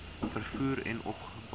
vervoer en openbare